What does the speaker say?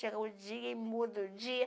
Chega o dia e muda o dia.